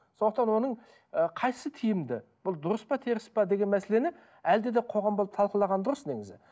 сондықтан оның ы қайсысы тиімді бұл дұрыс па теріс пе деген мәселені әлде де қоғам болып талқылаған дұрыс негізі